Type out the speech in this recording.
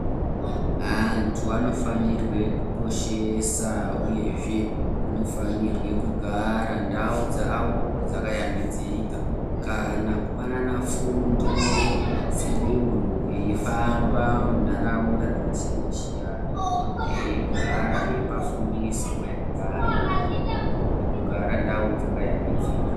Antu anofanirwe kukoshesa uyezve, anofanire kugara ndau dzavo dzakashambidzika, kana kupanana fundo dzedunhu eifamba munharaunda dzakasiyana-siyana, veigara veipa fundiso maererano nekugara ndau dzakaya mbidzika.